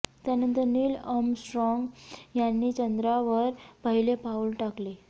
त्यानंतर Neil Armstrong यांनी चंद्रावर पहिले पाऊल टाकले